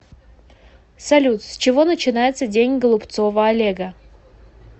салют с чего начинается день голубцова олега